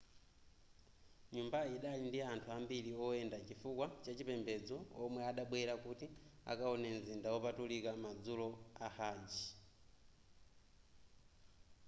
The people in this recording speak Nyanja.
nyumbayi idali ndi anthu ambiri woyenda chifukwa chachipembedzo omwe adabwera kuti akawone mzinda wopatulika madzulo a hajj